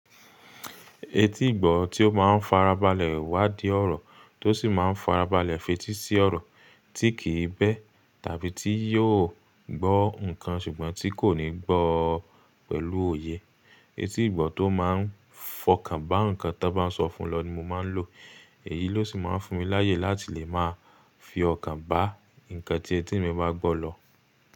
Etí ìgbọ́ tí ó máa ń farabalẹ̀ wá di ọ̀rọ̀ tó sì máa ń farabalẹ̀ fetí sí ọ̀rọ̀ tí kì í bẹ́ tàbí tí yóò gbọ́ nǹkan ṣùgbọ́n tí kò ní gbọ́o pẹ̀lú òye. Etí ìgbọ́ tó máa ń fọkàn bá nǹkan tan n bá sọ fún lọ ni mo máa ń lò. Èyí ló sì máa ń fún mi láyè láti lè máa fi ọkàn bá nǹkan tí etí mi bá gbọ́ lọ.